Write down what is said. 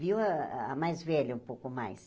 Viu a a mais velha um pouco mais.